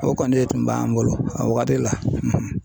O kɔni de tun b'an bolo a wagati la.